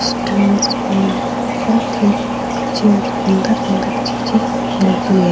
Strands mall में बहुत ही अच्छे और सुंदर-सुंदर चींज़े मिलती है।